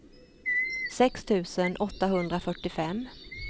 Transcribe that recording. sex tusen åttahundrafyrtiofem